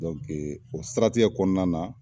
o saritigɛ kɔnɔna na